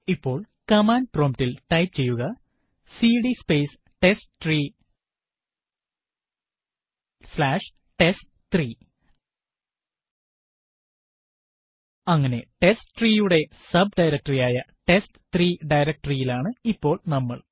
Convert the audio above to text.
ഇപ്പോൾ command prompt ൽ type ചെയ്യുക CD space testtree slash test three അങ്ങനെ testtree യുടെ സബ്ഡയറക്ടറി ആയ ടെസ്റ്റ്3 directory യിലാണ് ഇപ്പോൾ നമ്മൾ